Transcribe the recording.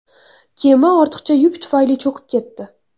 Kema ortiqcha yuk tufayli cho‘kib ketdi.